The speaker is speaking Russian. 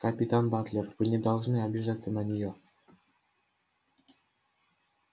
капитан батлер вы не должны обижаться на неё